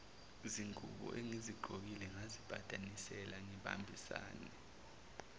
zinguboengizigqokile ngazipatanisela ngibambisane